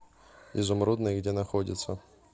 изумрудный где находится